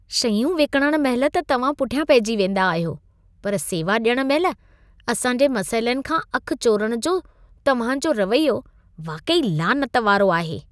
शयूं विकिणण महिल त तव्हां पुठियां पइजी वेंदा आहियो, पर सेवा ॾियण महिल असां जे मसइलनि खां अख चोरण जो तव्हां जो रवैयो वाक़ई लानत वारो आहे।